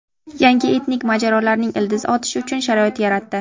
Yangi etnik mojarolarning ildiz otishi uchun sharoit yaratdi.